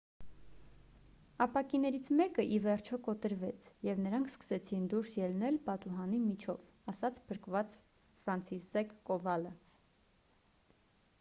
ապակիներից մեկը ի վերջո կոտրվեց և նրանք սկսեցին դուրս ելնել պատուհանի միջով»,- ասաց փրկված ֆրանցիսզեկ կովալը: